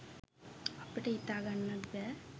අපට හිතා ගන්නත් බෑ